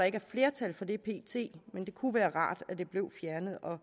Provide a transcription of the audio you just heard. ikke er flertal for det men det kunne være rart at den blev fjernet og